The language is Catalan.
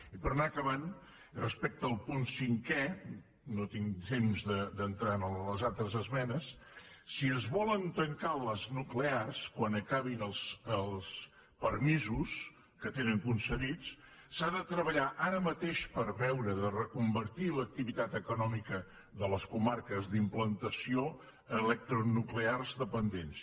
i per anar acabant i respecte al punt cinquè no tinc temps d’entrar en les altres esmenes si es volen tancar les nuclears quan acabin els permisos que tenen concedits s’ha de treballar ara mateix per veure de reconvertir l’activitat econòmica de les comarques d’implantació electronuclears dependents